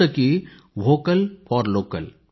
जसे की vocal for local